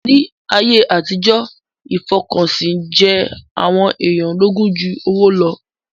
Ní ayé àtijọ́, ìfọkànsìn jẹ àwọn èèyàn lógún jú owó lọ